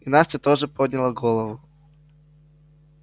и настя тоже подняла голову